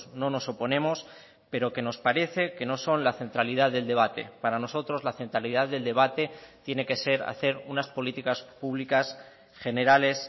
no nos oponemos pero que nos parece que no son la centralidad del debate para nosotros la centralidad del debate tiene que ser hacer unas políticas públicas generales